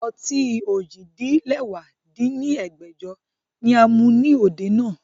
Ọtí ojì-din-lẹwá dín ní ẹgbẹ́jọ ni a mu ni òde náà